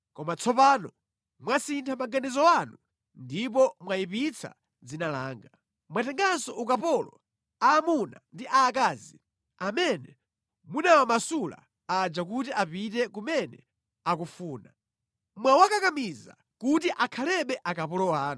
Koma tsopano mwasintha maganizo anu ndipo mwayipitsa dzina langa. Mwatenganso ukapolo aamuna ndi aakazi amene munawamasula aja kuti apite kumene akufuna. Mwawakakamiza kuti akhalebe akapolo anu.